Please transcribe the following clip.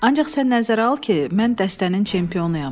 Ancaq sən nəzərə al ki, mən dəstənin çempionuyam.